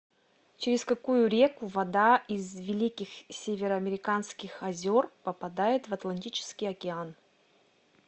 через какую реку вода из великих североамериканских озер попадает в атлантический океан